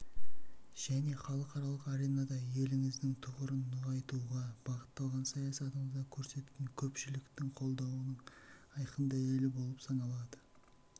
және халықаралық аренада еліңіздің тұғырын нығайтуға бағытталған саясатыңызға көрсеткен көпшіліктің қолдауының айқын дәлелі болып саналады